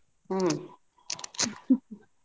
ಹ್ಮ್ .